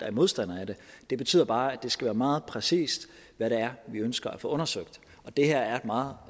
er modstandere af det det betyder bare at det skal være meget præcist hvad det er vi ønsker at få undersøgt og det her er et meget